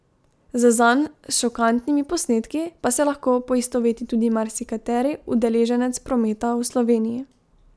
Z zanj šokantnimi posnetki pa se lahko poistoveti tudi marsikateri udeleženec prometa v Sloveniji.